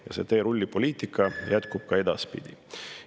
Ja see teerullipoliitika jätkub ka edaspidi.